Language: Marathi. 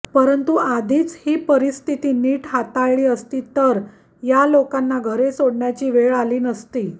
परंतु आधीच ही परिस्थिती नीट हाताळली असती तर या लोकांना घरे सोडण्याची वेळ आली नसती